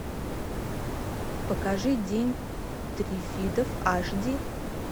покажи день триффидов аш ди